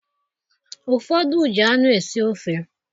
Ụfọdị ji anụ esi ofe